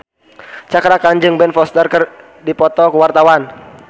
Cakra Khan jeung Ben Foster keur dipoto ku wartawan